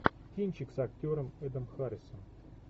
кинчик с актером эдом харрисом